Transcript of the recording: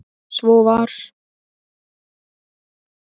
Svo var.